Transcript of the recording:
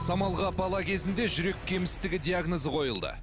самалға бала кезінде жүрек кемістігі диагнозы қойылды